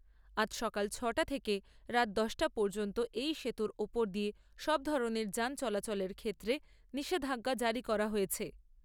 আজ সকাল ছয় টা থেকে রাত দশটা পর্যন্ত এই সেতুর ওপর দিয়ে সব ধরণের যান চলাচলের ক্ষেত্রে নিষেধাজ্ঞা জারি করা হয়েছে।